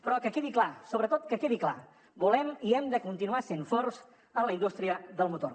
però que quedi clar sobretot que quedi clar volem i hem de continuar sent forts en la indústria del motor